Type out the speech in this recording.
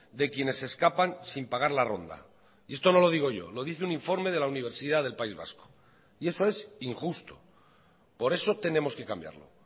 de quienes escapan sin pagar la ronda y esto no lo digo yo lo dice un informe de la universidad del país vasco y eso es injusto por eso tenemos que cambiarlo